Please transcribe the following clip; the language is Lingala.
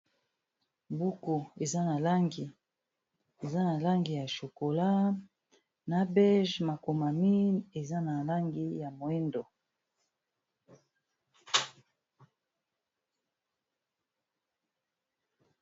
buku eza na langi ya chokola na bege makomamin eza na langi ya moindo